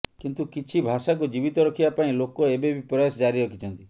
କିନ୍ତୁ କିଛି ଭାଷାକୁ ଜୀବିତ ରଖିବା ପାଇଁ ଲୋକ ଏବେ ବି ପ୍ରୟାସ ଜାରି ରଖିଛନ୍ତି